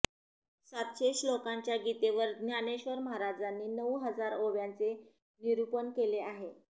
सातशे श्लोकाच्या गीतेवर ज्ञानेश्वर महाराजांनी नऊ हजार ओव्यांचे निरुपण केले आहे